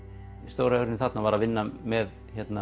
stóra málið þarna var að vinna með